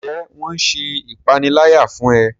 Njé wón ṣe ìpaniláyà fún e?